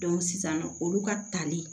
sisan nɔ olu ka tali